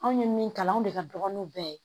Anw ye min kalan anw de ka dɔgɔnu bɛɛ